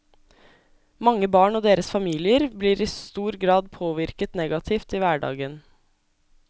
Mange barn og deres familier blir i stor grad påvirket negativt i hverdagen.